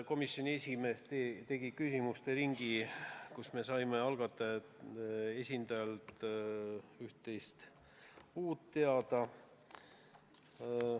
Komisjoni esimees avas küsimuste ringi, kus me saime algatajate esindajalt üht-teist uut teada.